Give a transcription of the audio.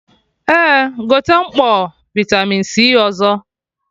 Eh, gote mkpọ vitamin C ọzọ